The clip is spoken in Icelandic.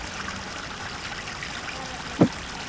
En þar var engin kerra.